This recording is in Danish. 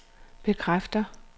bekræfter